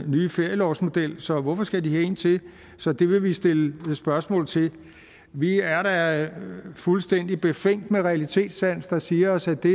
nye ferielovsmodel så hvorfor skal de have en til så det vil vi stille spørgsmål til vi er da fuldstændig befængt med realitetssans der siger os at det